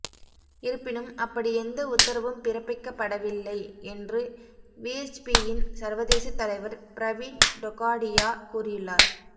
இருப்பினும் அப்படி எந்த உத்தரவும் பிறப்பிக்கப்படவில்லை என்று விஎச்பியின் சர்வதேச தலைவர் பிரவீன் டொகாடியா கூறியுள்ளார்